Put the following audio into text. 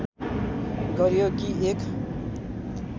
गरियो कि एक